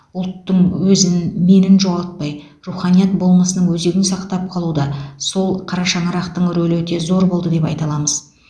ұлттың өзін менін жоғалтпай руханият болмысының өзегін сақтап қалуда сол қара шаңырақтың рөлі өте зор болды деп айта аламыз